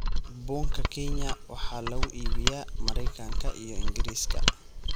Bunka Kenya waxa lagu iibiyaa Maraykanka iyo Ingiriiska.